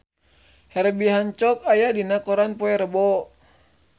Herbie Hancock aya dina koran poe Rebo